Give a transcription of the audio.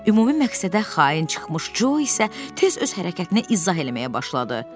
Ümumi məqsədə xain çıxmış Co isə tez öz hərəkətini izah eləməyə başladı.